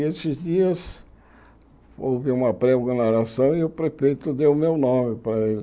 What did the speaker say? E esses dias houve uma pré-organização e o prefeito deu o meu nome para ele.